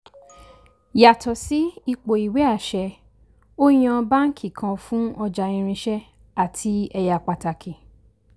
yàtò sí ipò ìwé àṣẹ ó yan báàǹkì kan fún ọjà irinṣẹ́ àti ẹyà pàtàkì.